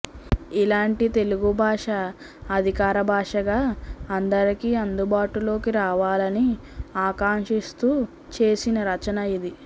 ఇలాంటి తెలుగు భాష అధికార భాషగా అందరికీ అందుబాటులోకి రావాలని ఆకాంక్షిస్తూ చేసిన రచన ఇది